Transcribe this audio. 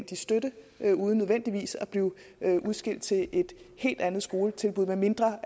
støtte uden nødvendigvis at blive udskilt til et helt andet skoletilbud medmindre